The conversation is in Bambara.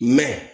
Mɛ